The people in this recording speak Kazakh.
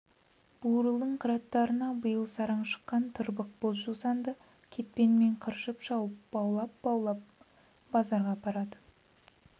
бурылдың қыраттарына биыл сараң шыққан тырбық боз жусанды кетпенмен қыршып шауып баулап-баулап базарға апарады